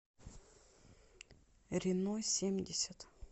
рено семьдесят